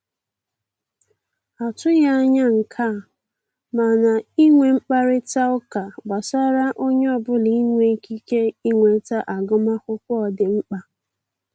A tụghị anya nke a, mana inwe mkparịta ụka gbasara onye ọbụla inwe ikike inweta agụmakwụkwọ dị mkpa